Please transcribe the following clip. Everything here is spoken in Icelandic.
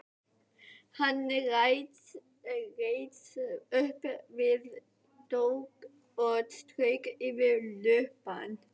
Hann reis upp við dogg og strauk yfir lubbann.